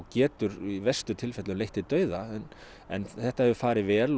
geta í verstu tilfellum leitt til dauða en þetta hefur farið vel